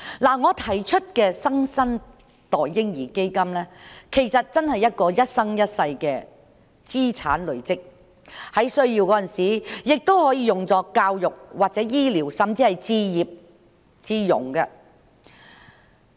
我提出的"新生代嬰兒基金"，其實是一個一生一世的資產累積計劃，在有需要時，亦可用於教育或醫療，甚至用作置業。